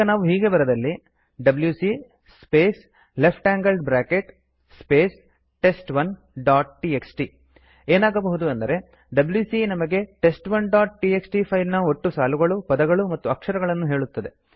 ಈಗ ನಾವು ಹೀಗೆ ಬರೆದಲ್ಲಿ WC space left angled bracket space test one dot TXT ಏನಾಗಬಹುದು ಅಂದರೆ ಡಬ್ಯೂಸಿ ನಮಗೆ ಟೆಸ್ಟ್1 ಡಾಟ್ ಟಿಎಕ್ಸ್ಟಿ ಫೈಲ್ ನ ಒಟ್ಟು ಸಾಲುಗಳು ಪದಗಳು ಮತ್ತು ಅಕ್ಷರಗಳನ್ನು ಹೇಳುತ್ತದೆ